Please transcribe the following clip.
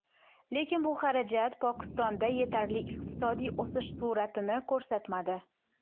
Lekin bu xarajat Pokistonda yetarli iqtisodiy o‘sish sur’atini ko‘rsatmadi.